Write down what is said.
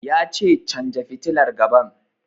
Ya ce 'Canja fitilar gaban'!